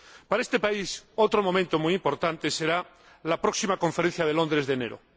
Para este país, otro momento muy importante será la próxima conferencia de Londres de enero.